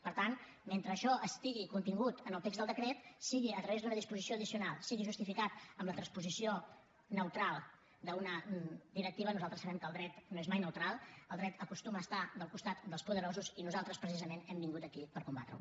per tant mentre això estigui contingut al text del decret sigui a través d’una disposició addicional sigui justificat amb la transposició neutral d’una directiva nosaltres sabem que el dret no és mai neutral el dret acostuma a estar al costat dels poderosos i nosaltres precisament hem vingut aquí per combatreho